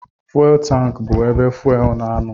Fuwel tankị bụ ebe fuwel na-anọ.